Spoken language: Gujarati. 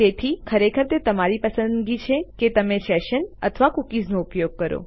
તેથી ખરેખર તે તમારી પસંદગીની છે કે તમે સેશન અથવા કૂકીઝનો ઉપયોગ કરો